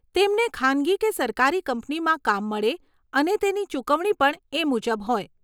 તેમને ખાનગી કે સરકારી કંપનીમાં કામ મળે અને તેની ચુકવણી પણ એ મુજબ હોય.